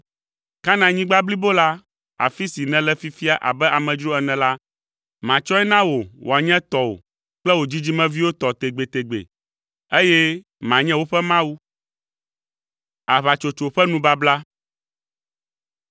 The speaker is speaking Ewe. Kanaanyigba blibo la, afi si nèle fifia abe amedzro ene la, matsɔe na wò wòanye tɔwò kple wò dzidzimeviwo tɔ tegbetegbe, eye manye woƒe Mawu.”